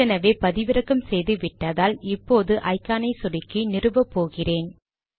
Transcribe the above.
ஏற்கனவே பதிவிறக்கம் செய்து விட்டதால் இப்போது ஐகானை சொடுக்கி நிறுவபோகிறேன்